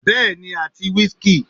Bẹ́ẹ̀ni àti whisky.